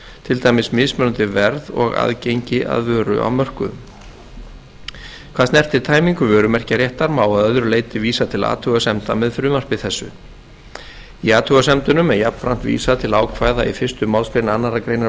til dæmis mismunandi verð og aðgengi að vöru á mörkuðum hvað snertir tæmingu vörumerkjaréttar má að öðru leyti vísa til athugasemda með frumvarpi þessu í athugasemdunum er jafnframt vísað til ákvæða í fyrstu málsgrein annarrar greinar